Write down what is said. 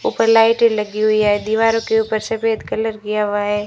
उपर लाईट लगी हुई है दीवारों के ऊपर सफेद कलर किया हुआ है।